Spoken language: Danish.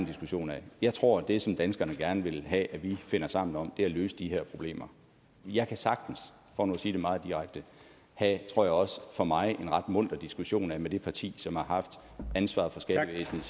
diskussion af jeg tror at det som danskerne gerne vil have vi finder sammen om er at løse de her problemer jeg kan sagtens for nu at sige det meget direkte have en tror jeg også for mig ret munter diskussion med det parti som har haft ansvaret for skattevæsenet